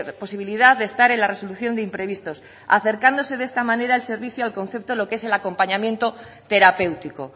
posibilidad de estar en la resolución de imprevistos acercándose de esta manera el servicio al concepto lo que es el acompañamiento terapéutico